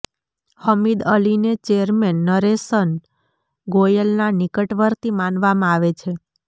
હમીદ અલીને ચેરમેન નરેશન ગોયલના નિકટવર્તી માનવામાં આવે છે